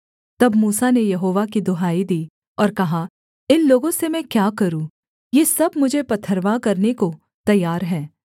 तब मूसा ने यहोवा की दुहाई दी और कहा इन लोगों से मैं क्या करूँ ये सब मुझे पथरवाह करने को तैयार हैं